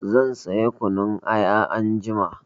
Zan sayi kunun aya anjima.